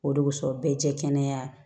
O de kosɔn bɛɛ tɛ kɛnɛya